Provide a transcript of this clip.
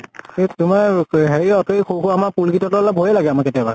সেইটো তোমাৰ কি অ হেৰিঅত সেই আমাৰ সৰু সৰু পোৱালী ভয়ে লাগে আমাৰ কেতিয়াবা।